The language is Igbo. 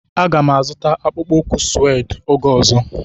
Aga m azụta akpụkpọ ụkwụ sued oge ọzọ.